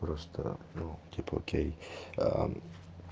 просто ну типа окей аа